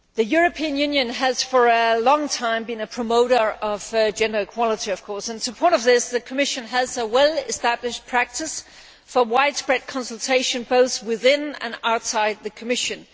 The European Union has for a long time been a promoter of gender equality. In support of this, the Commission has a well established practice for widespread consultation both within and outside the Commission.